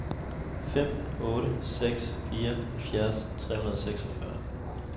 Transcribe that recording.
fem otte seks fire halvfjerds tre hundrede og seksogfyrre